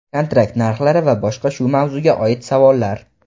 kontrakt narxlari va boshqa shu mavzuga oid savollar.